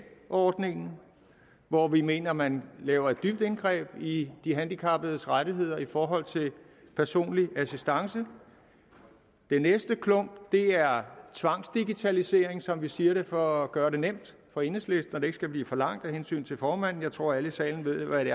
ordningen hvor vi mener at man laver et dybt indgreb i de handicappedes rettigheder i forhold til personlig assistance den næste klump er tvangsdigitalisering som vi siger det for at gøre det nemt for enhedslisten og det ikke skal blive for langt af hensyn til formanden jeg tror at alle i salen ved hvad det